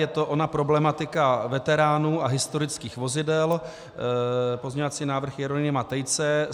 Je to ona problematika veteránů a historických vozidel, pozměňovací návrh Jeronýma Tejce.